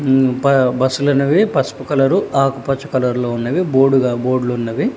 మ్మ్ ప బస్సులు అనెవి పసుపు కలరు ఆకుపచ్చ కలర్ లో ఉన్నవి బోడుగ బోడ్లు ఉన్నవి.